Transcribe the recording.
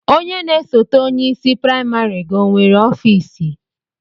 Onye na-esote onye isi praịmarị gị onwere ọfiisi?